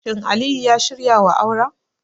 Shin Aliyu ya shirya wa auren?